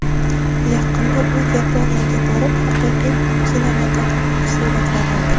Yaqinda u Yaponiyaga borib, haqiqiy kinematografik suratlar oldi.